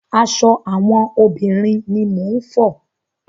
Aṣọ àwọn obìnrin ni mò ń fọ.